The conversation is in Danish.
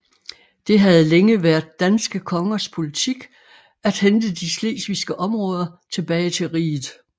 Det havde længe været danske kongers politik at hente de slesvigske områder tilbage til riget